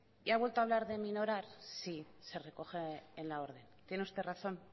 y ha vuelto a hablar de minorar sí se recoge en la orden tiene usted razón